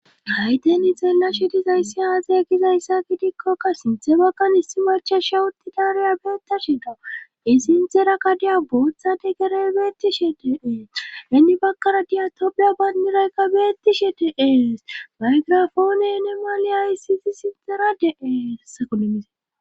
Hayten ixella shidizayssi haaze gizayssa gidikkokka sinthe bakgan hissi macha shewuti daareya beettashe da i sinxera kadiya bootha de gerey beettishe deee henni bakkara diya tobeyo baynniraykka beettishe deees baygrafoone enemale aysisi sinxerade7eesakolemise